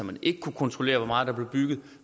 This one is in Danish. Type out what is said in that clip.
man ikke kunne kontrollere hvor meget der blev bygget